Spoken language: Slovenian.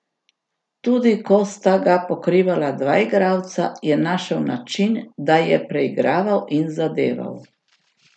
Tudi ko sta ga pokrivala dva igralca, je našel način, da je preigraval in zadeval.